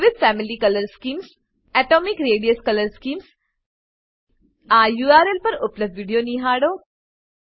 વિવિધ family colour schemes atomic radius colour scheme આ URL પર ઉપલબ્ધ વિડીયો નિહાળો